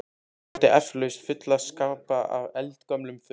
Hún átti eflaust fulla skápa af eldgömlum fötum.